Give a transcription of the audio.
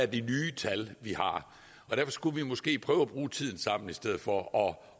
de nye tal vi har og derfor skulle vi måske prøve at bruge tiden sammen i stedet for og